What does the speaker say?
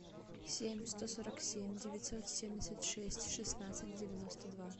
семь сто сорок семь девятьсот семьдесят шесть шестнадцать девяносто два